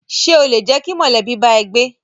Ṣé o lè jẹ́ kí mọ̀lẹ́bí bá ẹ gbé?